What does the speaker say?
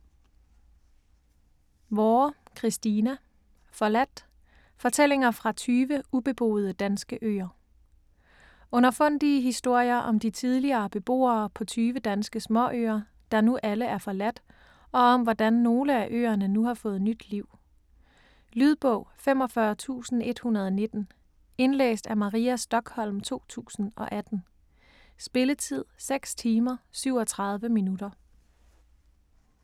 Vorre, Christina: Forladt: fortællinger fra 20 ubeboede danske øer Underfundige historier om de tidligere beboere på tyve danske småøer, der nu alle er forladt, og om hvordan nogle af øerne nu har fået nyt liv. Lydbog 45119 Indlæst af Maria Stokholm, 2018. Spilletid: 6 timer, 37 minutter.